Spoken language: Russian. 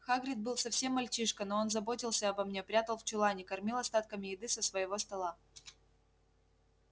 хагрид был совсем мальчишка но он заботился обо мне прятал в чулане кормил остатками еды со своего стола